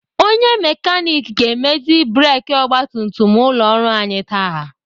Onye mekanik ga-emezi breki ọgbatumtum ụlọ ọrụ anyị taa.